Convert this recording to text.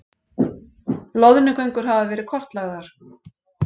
Loðnugöngur hafa verið kortlagðar